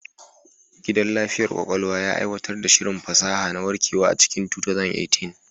Gidan lafiyar ƙwaƙwalwa ya aiwatar da shirin fasaha na warkewa a cikin 2018.